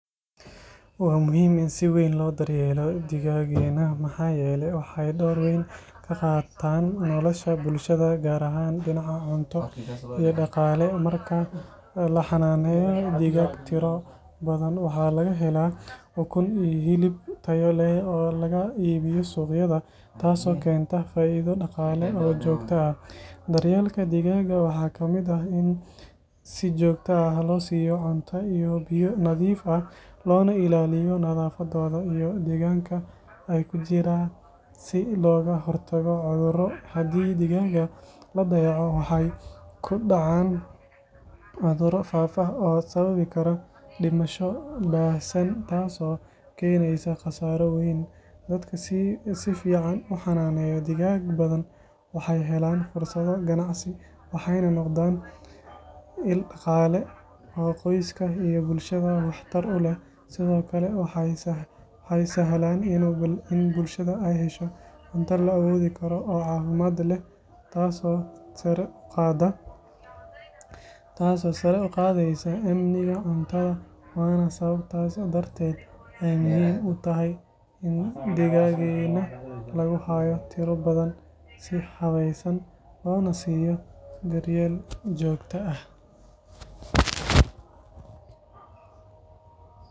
Waa muhiim in si weyn loo dra yeelo digaaga, waxaa laga helaa ukun iyo hilib, dar yeelka waxaa kamid ah in si joogta ah loo siiyo biyo iyo cuno nadiif ah, dadka si fican uxananeyo waxeey noqdaan ila daqaale, waxeey sahlan in bulshada aay hesho cunto fican, sababtaas darteed ayeey muhiim utahay.